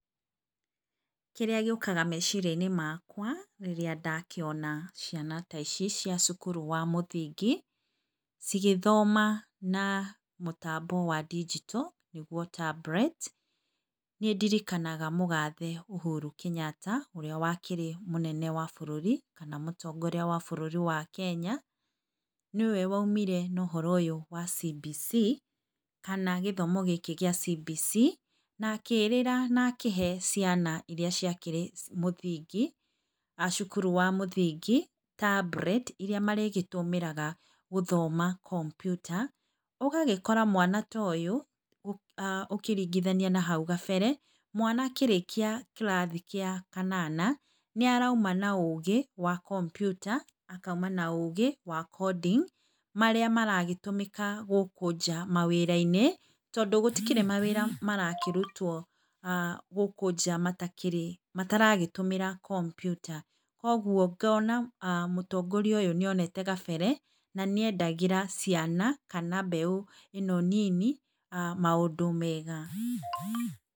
Kĩrĩa gĩũkaga meciria inĩ makwa rĩrĩa ndakĩona ciana ta ici cia cukuru wa mũthingi cigĩthoma na mũtambo wa ndinjito nĩguo tablet nĩ ndirikanaga mũgathe ũhuru Kenyatta ũrĩa wakĩrĩ mũnene wa bũrũri kana mũtongoria wa bũrũri wa Kenya, nĩwe waumire na ũhoro ũyũ wa cibici kana gĩthomo gĩkĩ gĩa cibici na akĩrĩra na akĩhe ciana ĩrĩa ciakĩrĩ mũthingi, acukuru wa mũthingi tablet irĩa marĩgĩtũmĩraga gũthoma kompiuta. Ogagĩkora mwana ta ũyũ ũkĩringithania na hau gabere mwana akĩrĩkia kĩrathi gĩa kanana nĩ arauma na ũgĩ wa kompiuta akauma na ũgĩ wa coding marĩa maragĩtũmĩka gũkũ nja mawĩra -inĩ tondũ gũtikĩrĩ mawĩra marakĩrutwo aah gũkũ nja mataragĩtũmĩra kompiuta. Koguo ngona mũtongoria ũyũ nĩ onete gabere na nĩendegĩra ciana kana mbeũ ĩno nini maũndũ mega.